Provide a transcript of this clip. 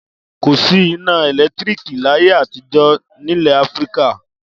Kò sí iná ẹ̀lẹ́tíríkì láyé àtijọ́ nílẹ̀ Áfíríkà.